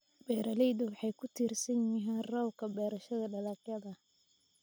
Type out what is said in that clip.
Beeraleydu waxay ku tiirsan yihiin roobka beerashada dalagyada.